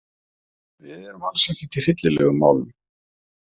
Við erum alls ekkert í hryllilegum málum.